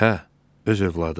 Hə, öz övladı.